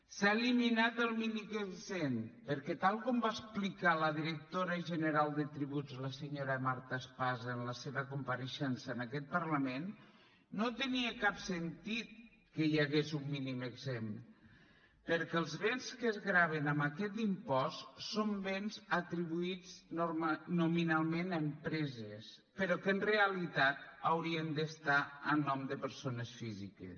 s’ha eliminat el mínim exempt perquè tal com va explicar la directora general de tributs la senyora marta espasa en la seva compareixença en aquest parlament no tenia cap sentit que hi hagués un mínim exempt perquè els béns que es graven amb aquest impost són béns atribuïts nominalment a empreses però que en realitat haurien d’estar a nom de persones físiques